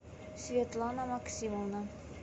светлана максимовна